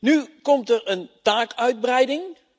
Nu komt er een taakuitbreiding.